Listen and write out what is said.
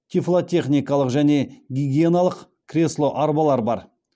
тифлотехникалық және гигиеналық кресло арбалар бар